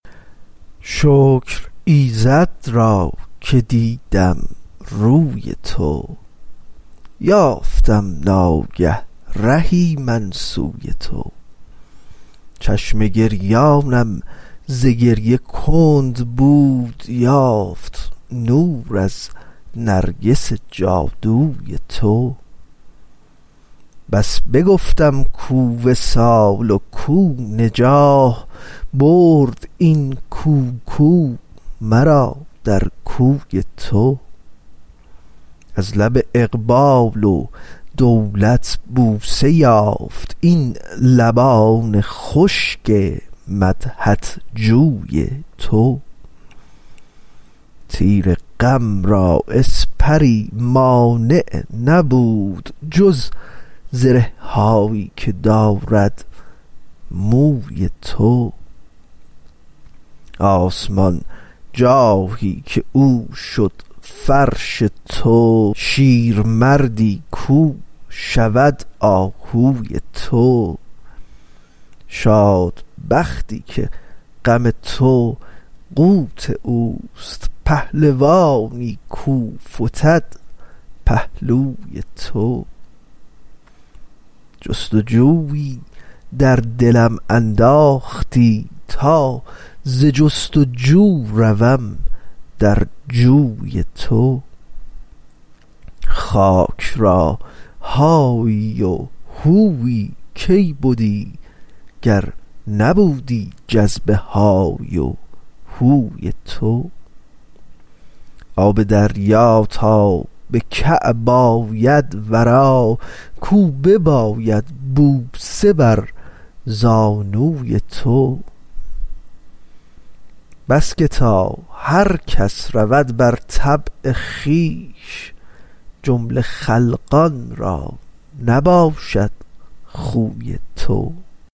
شکر ایزد را که دیدم روی تو یافتم ناگه رهی من سوی تو چشم گریانم ز گریه کند بود یافت نور از نرگس جادوی تو بس بگفتم کو وصال و کو نجاح برد این کو کو مرا در کوی تو از لب اقبال و دولت بوسه یافت این لبان خشک مدحت گوی تو تیر غم را اسپری مانع نبود جز زره هایی که دارد موی تو آسمان جاهی که او شد فرش تو شیرمردی کو شود آهوی تو شاد بختی که غم تو قوت اوست پهلوانی کو فتد پهلوی تو جست و جویی در دلم انداختی تا ز جست و جو روم در جوی تو خاک را هایی و هویی کی بدی گر نبودی جذب های و هوی تو آب دریا تا به کعب آید ورا کو بیابد بوسه بر زانوی تو بس که تا هر کس رود بر طبع خویش جمله خلقان را نباشد خوی تو